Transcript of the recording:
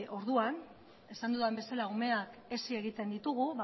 orduan esan dudan bezala umeak hezi egiten ditugu